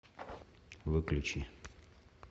выключи